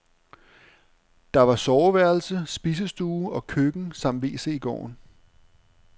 Der var soveværelse, spisestue og køkken samt wc i gården.